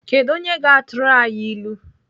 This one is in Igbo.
Kedụ onye ga-atụrụ anyị ilu?